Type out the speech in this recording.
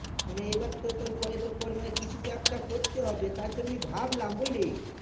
মানে এইবার তো তোর কয়ে দেড় পরিমাণে কিছু তা একটা করতে হবে তাই জন্য আমি ভাবলাম বুঝলি